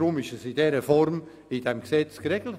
Darum ist es in dieser Form im Gesetz geregelt.